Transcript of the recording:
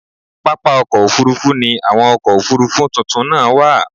Pápá ọkọ́ Òfurufú ni àwọn ọkọ̀ Òfurufú tuntun náà wà.